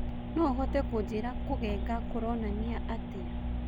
no ũhote kũnjĩira kũgenga kũronania atĩa